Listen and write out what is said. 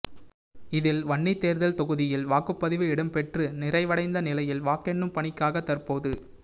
இதில் வன்னி தேர்தல் தொகுதியில் வாக்குப்பதிவு இடம்பெற்று நிறைவடைந்த நிலையில் வாக்கெண்ணும் பணிக்காக தற்போது